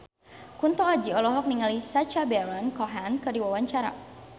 Kunto Aji olohok ningali Sacha Baron Cohen keur diwawancara